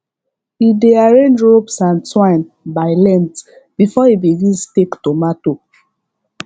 e dey arrange ropes and twine by length before he begin stake tomato